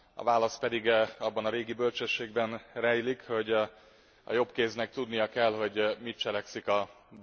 A válasz pedig abban a régi bölcsességben rejlik, hogy a jobb kéznek tudnia kell, hogy mit cselekszik a bal.